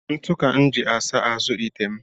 Ntụ ka m ji asa azụ ite m